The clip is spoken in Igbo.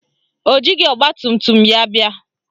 O jighị ọgbatumtum ya bịa